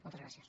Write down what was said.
moltes gràcies